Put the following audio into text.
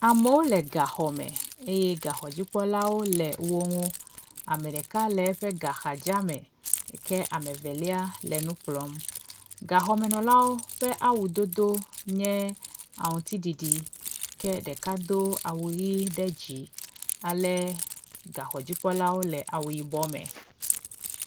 Amewo le gaxɔme eye gaxɔdzikpɔlawo le woŋu , ameɖeka le eƒe gaxadza me ke amevelia le nukplɔm gaxɔmenɔlawo ƒe awu dodó nye aŋutiɖiɖi ke ɖeka dó awu ɣi ɖe dzi ale gaxɔdzipkɔlawo le awu yibɔ me